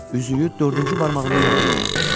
Üzüyü dördüncü barmağında yox idi.